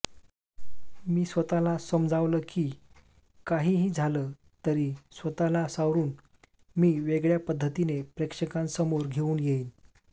मी स्वतःला समजावलं की काहीही झालं तरी स्वतःला सावरून मी वेगळ्या पद्धतीने प्रेक्षकांसमोर घेऊन येईन